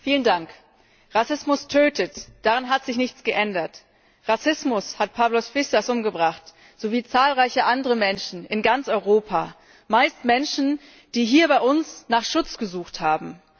Frau Präsidentin! Rassismus tötet! Daran hat sich nichts geändert. Rassismus hat Pavlos Fyssas umgebracht sowie zahlreiche andere Menschen in ganz Europa, meist Menschen, die hier bei uns nach Schutz gesucht haben.